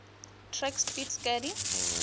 track speed skating